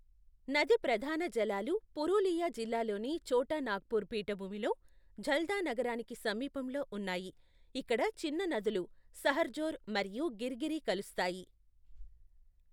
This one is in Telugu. నది ప్రధాన జలాలు పురూలియా జిల్లాలోని ఛోటా నాగ్పూర్ పీఠభూమిలో, ఝల్దా నగరానికి సమీపంలో ఉన్నాయి, ఇక్కడ చిన్న నదులు సహర్జోర్ మరియు గిర్గిరి కలుస్తాయి.